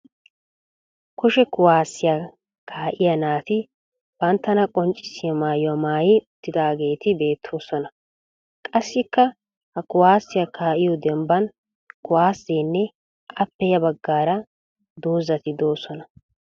Kushe kuwaasiya kaa'iya naati banttana qoccisssiya mayyuwa mayyi uttidaageeti beettoosona. Qassikka ha kuwaasiya kaa'iyo dembban kuwaasenne appe ya baggaara dozzati doosona.